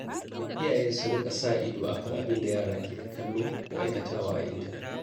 Iyaye su rika sa ido kan abin da yara ke kallo ko aikatawa a intanet.